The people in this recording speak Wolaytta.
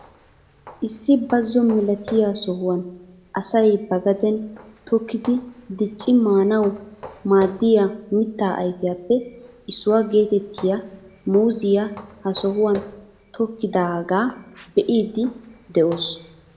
Issi bazo milatiyaa sohuwaan asay ba gaden tokkidi dicci maanawu maaddiyaa mittaa ayfiyaappe issuwaa geetettiyaa muuziyaa ha sohuwaan tokettidaaga be'idi de'oos.